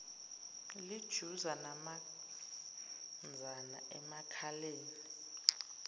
lijuza namanzana emakhaleni